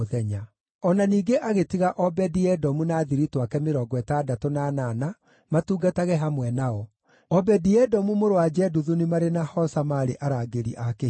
O na ningĩ agĩtiga Obedi-Edomu na athiritũ ake mĩrongo ĩtandatũ na anana matungatage hamwe nao. Obedi-Edomu mũrũ wa Jeduthuni marĩ na Hosa maarĩ arangĩri a kĩhingo.